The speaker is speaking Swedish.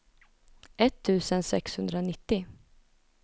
etttusen sexhundranittio